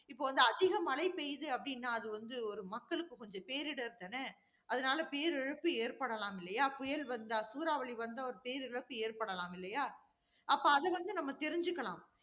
இப்ப வந்து அதிக மழை பெய்யுது அப்படின்னா, அது வந்து ஒரு மக்களுக்கு கொஞ்சம் பேரிடர் தானே? அதனால பேரிழப்பு ஏற்படலாம் இல்லையா? புயல் வந்தா, சூறாவளி வந்தா, ஒரு பேரிழப்பு ஏற்படலாம் இல்லையா? அப்ப அத வந்து நம்ம தெரிஞ்சிக்கலாம்